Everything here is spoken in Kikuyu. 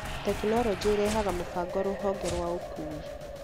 tekinoroji ĩrehaga mũbango rũhonge rwa ũkuui